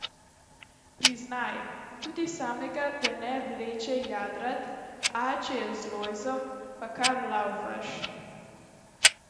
Priznaj, tudi samega te ne vleče jadrat, a če je z Lojzom, pa kar laufaš.